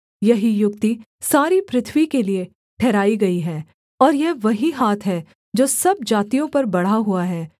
यही युक्ति सारी पृथ्वी के लिये ठहराई गई है और यह वही हाथ है जो सब जातियों पर बढ़ा हुआ है